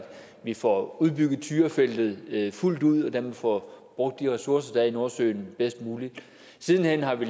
vi får udbygget tyrafeltet fuldt ud og dermed får brugt de ressourcer der er i nordsøen bedst muligt siden hen har vi